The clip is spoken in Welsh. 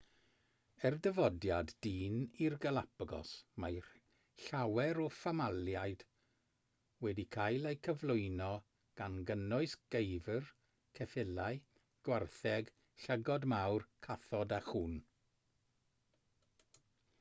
ers dyfodiad dyn i'r galapagos mae llawer o famaliaid wedi cael eu cyflwyno gan gynnwys geifr ceffylau gwartheg llygod mawr cathod a chŵn